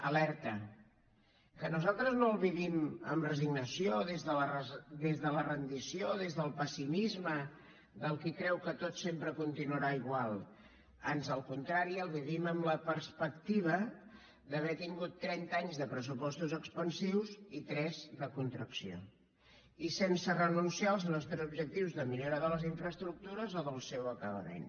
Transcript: alerta que nosaltres no el vivim amb resignació des de la rendició des del pessimisme del qui creu que tot sempre continuarà igual ans al contrari el vivim amb la perspectiva d’haver tingut trenta anys de pressupostos expansius i tres de contracció i sense renunciar als nostres objectius de millora de les infraestructures o del seu acabament